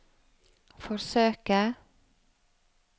forsøke